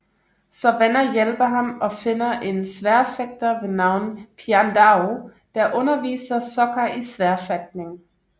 Så venner hjælper ham og finder en sværdfægter ved navn Piandao der underviser Sokka i sværfægtning